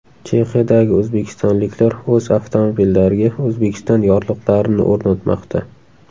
Chexiyadagi o‘zbekistonliklar o‘z avtomobillariga O‘zbekiston yorliqlarini o‘rnatmoqda.